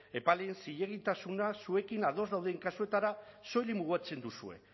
epaileen zilegitasuna zuekin ados dauden kasuetara soilik mugatzen duzue